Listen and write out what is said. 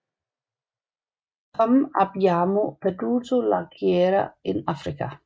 Come abbiamo perduto la guerra in Africa